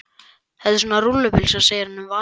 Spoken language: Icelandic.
Þetta er svona rúllupylsa segir hann um vasatölvuna.